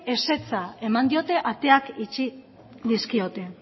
ezetza eman diote ateak itxi dizkiote